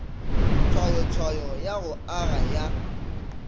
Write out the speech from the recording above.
tshwayotshwayo ya go aga ya